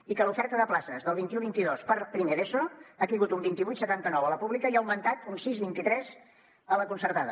i que l’oferta de places del vint un vint dos per primer d’eso ha caigut un vint vuit coma setanta nou a la pública i ha augmentat un sis coma vint tres a la concertada